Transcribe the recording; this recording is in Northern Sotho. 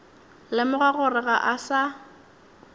lemoga gore ga a sa